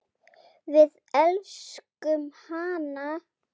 Við elskum hana.